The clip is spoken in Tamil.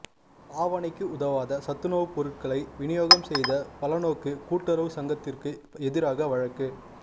பாவனைக்கு உதவாத சத்துணவுப் பொருட்களை விநியோகம் செய்த பலநோக்கு கூட்டுறவுச் சங்கத்திற்கு எதிராக வழக்கு